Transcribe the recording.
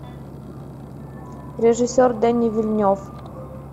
режиссер дени вильнев